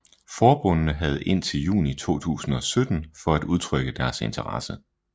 Forbundene havde indtil juni 2017 for at udtrykke interesse